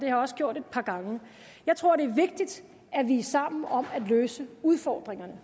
jeg også gjort et par gange jeg tror det er vigtigt at vi er sammen om at løse udfordringerne